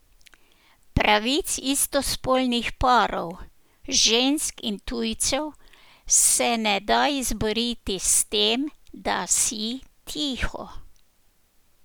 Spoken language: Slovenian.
Pravic istospolnih parov, žensk in tujcev se ne da izboriti s tem, da si tiho.